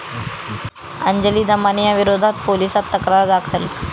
अंजली दमानियांविरोधात पोलिसांत तक्रार दाखल